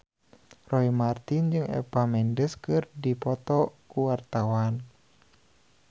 Roy Marten jeung Eva Mendes keur dipoto ku wartawan